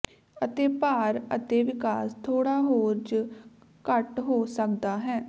ਅਤੇ ਭਾਰ ਅਤੇ ਵਿਕਾਸ ਥੋੜ੍ਹਾ ਹੋਰ ਜ ਘੱਟ ਹੋ ਸਕਦਾ ਹੈ